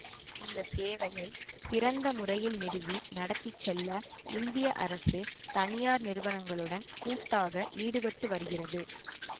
இந்த சேவையை சிறந்த முறையில் நிறுவி நடத்தி செல்ல இந்திய அரசு தனியார் நிறுவனங்களுடன் கூட்டாக ஈடுபட்டு வருகிறது